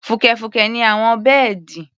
Fùkẹ̀fùkẹ̀ ni àwọn bẹ́ẹ̀dì.